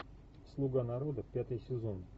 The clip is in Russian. слуга народа пятый сезон